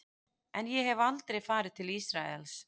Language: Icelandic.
En ég hef aldrei farið til Ísraels.